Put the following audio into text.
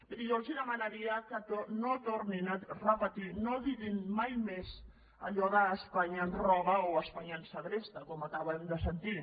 miri jo els demanaria que no tornessin a repetir no diguessin mai més allò d’ espanya ens roba o espanya ens segresta com acabem de sentir